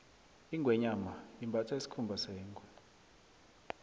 ingweenyama imbatha isikhumba sengwe